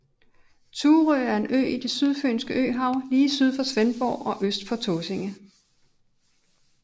Thurø er en ø i det Sydfynske Øhav lige syd for Svendborg og øst for Tåsinge